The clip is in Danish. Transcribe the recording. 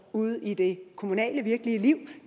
ude i det kommunale virkelige liv